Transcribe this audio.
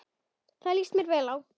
Það líst mér vel á.